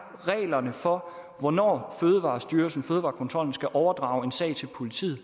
for hvornår fødevarestyrelsen fødevarekontrollen skal overdrage en sag til politiet